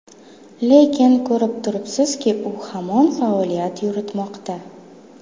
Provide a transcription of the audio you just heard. Lekin ko‘rib turibsizki, u hamon faoliyat yuritmoqda.